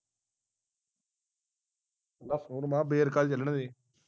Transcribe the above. ਨਾ ਹੁਣ ਮੈਂ ਕਿਹਾ verka ਹੀ ਚੱਲਣ ਦੇ